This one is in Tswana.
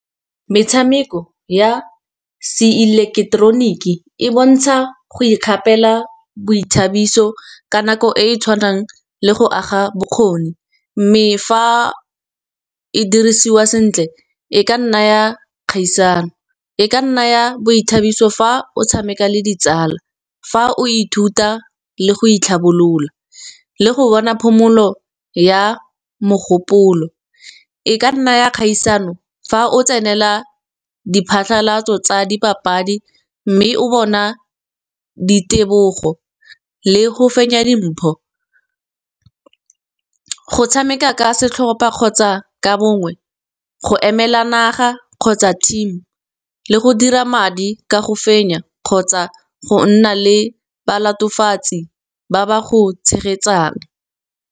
metshameko ya se ileketeroniki e bontsha go ikgapela boithabiso ka nako e e tshwanang le go aga bokgoni. Mme fa e dirisiwa sentle, e ka nna ya kgaisano, e ka nna ya boithabiso fa o tshameka le ditsala. Fa o ithuta le go itlhabolola le go bona phomolo ya mogopolo, e ka nna ya kgaisano fa o tsenela diphatlhalatso tsa dipapadi mme o bona di tebogo le go fenya dimpho. Go tshameka ka setlhopha kgotsa ka bongwe, go emela naga kgotsa team le go dira madi ka go fenya, kgotsa go nna le ba latofatsi ba ba go tshegetsang.